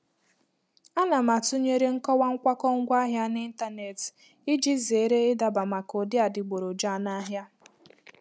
A na m atụnyere nkọwa nkwakọ ngwaahịa n'ịntanetị iji zere ịdaba maka ụdị adịgboroja n'ahịa.